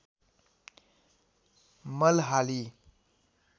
मल हाली